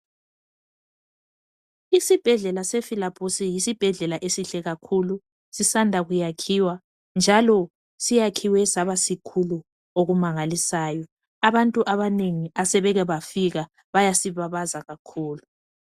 Isibhedlela sefilabusi yisibhedlela esihle kakhulu sisanda kuyakhiwa njalo siyakhiwe saba sikhulu okumangalisayo abantu abanengi asebeke bafika bayasibabaza kakhulu.